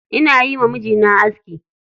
Ina yiwa mijina aski.